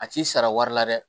A t'i sara wari la dɛ